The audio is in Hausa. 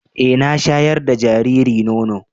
E, na shaƴar da jariri nono.